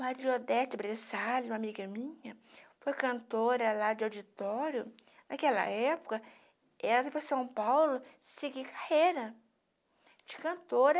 Maria Odete Bressali, uma amiga minha, foi cantora lá de auditório, naquela época, ela foi para São Paulo seguir carreira de cantora,